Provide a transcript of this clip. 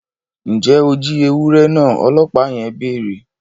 Njẹ o jí ewurẹ náà! ọlọpa yẹn béèrè